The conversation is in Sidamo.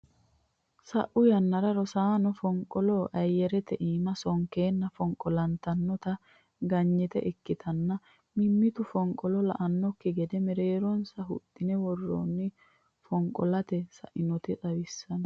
Sa'u yannara rosaano fonqolo ayerete iima sonkanna fonqolantinoti qaangayiita ikkitanna. Mimmitu fonqolo la'annoki gede mereeronsa huxxine worreenna fonqolante sa'inota xawissano.